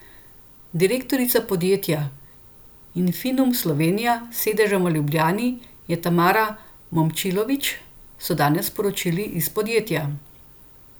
Direktorica podjetja Infinum Slovenija, s sedežem v Ljubljani, je Tamara Momčilović, so danes sporočili iz podjetja.